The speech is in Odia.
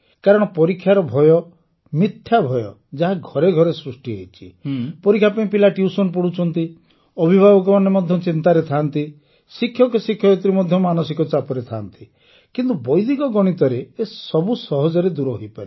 କାରଣ ପରୀକ୍ଷାର ଭୟ ମିଥ୍ୟା ଭୟ ଯାହା ଘରେ ଘରେ ସୃଷ୍ଟି ହୋଇଛି ପରୀକ୍ଷା ପାଇଁ ପିଲା ଟ୍ୟୁସନ ପଢ଼ୁଛନ୍ତି ଅଭିଭାବକମାନେ ଚିନ୍ତାରେ ଥାଆନ୍ତି ଶିକ୍ଷକ ଶିକ୍ଷୟିତ୍ରୀ ମଧ୍ୟ ମାନସିକ ଚାପରେ ଥାଆନ୍ତି କିନ୍ତୁ ବୈଦିକ ଗଣିତରେ ଏସବୁ ସହଜରେ ଦୂର ହୋଇପାରିବ